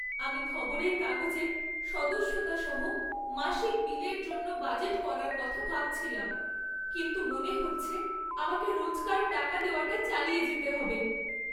আমি খবরের কাগজের সদস্যতা সহ মাসিক বিলের জন্য বাজেট করার কথা ভাবছিলাম, কিন্তু মনে হচ্ছে আমাকে রোজকার টাকা দেওয়াটা চালিয়ে যেতে হবে।